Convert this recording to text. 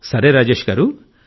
సరే రాజేశ్ గారూ